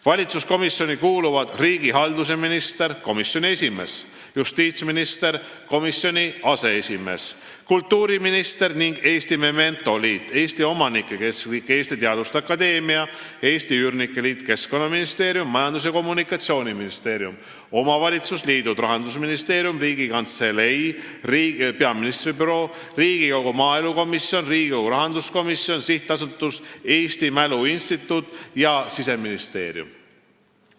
Valitsuskomisjoni kuuluvad riigihalduse minister , justiitsminister , kultuuriminister ning Eesti Memento Liit, Eesti Omanike Keskliit, Eesti Teaduste Akadeemia, Eesti Üürnike Liit, Keskkonnaministeerium, Majandus- ja Kommunikatsiooniministeerium, omavalitsusliidud, Rahandusministeerium, Riigikantselei , Riigikogu maaelukomisjon, Riigikogu rahanduskomisjon, SA Eesti Mälu Instituut ja Siseministeerium.